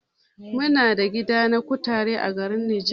Muna da gida na kutare a garin Niger.